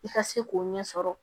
I ka se k'o ɲɛ sɔrɔ